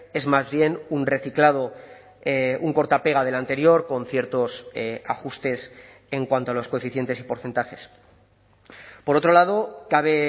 es más bien un reciclado un corta pega del anterior con ciertos ajustes en cuanto a los coeficientes y porcentajes por otro lado cabe